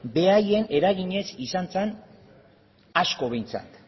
beraien eraginez izan zen asko behintzat